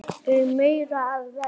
Úr meiru að velja!